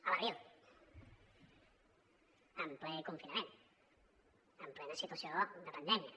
a l’abril en ple confinament en plena situació de pandèmia